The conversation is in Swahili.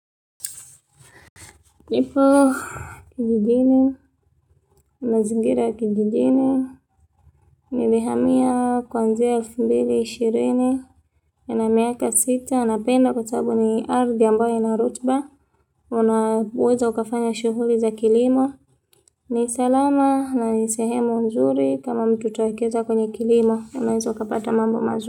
Nipo kijijini, mazingira ya kijijini, nilihamia kuanzia elfu mbili ishirini. Nina miaka sita, napenda kwa sababu ni ardhi ambayo ina rutuba, unaweza ukafanya shughuli za kilimo, ni salama na ni sehemu nzuri kama mtu utawekeza kwenye kilimo, unaweza ukapata mambo mazuri.